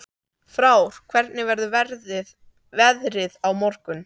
Frár, hvernig verður veðrið á morgun?